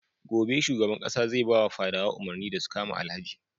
Gobe shugaban ƙasa zai bawa fadawa umarni da su kama Alhaji.